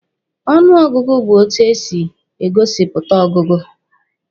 Ọnụ ọgụgụ bụ etu e si e gosipụta ọgụgụ